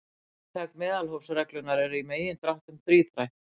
Inntak meðalhófsreglunnar er í megindráttum þríþætt.